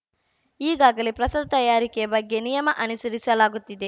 ಈಗಾಗಲೇ ಪ್ರಸಾದ ತಯಾರಿಕೆ ಬಗ್ಗೆ ನಿಯಮ ಅನುಸರಿಸಲಾಗುತ್ತಿದೆ